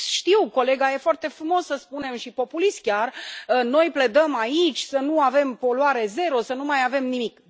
Eu știu, colega, e foarte frumos să spunem, și populist chiar, noi pledăm aici să nu avem poluare zero, să nu mai avem nimic